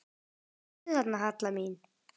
Ertu þarna, Halla mín?